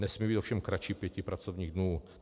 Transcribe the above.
Nesmí být ovšem kratší pěti pracovních dnů.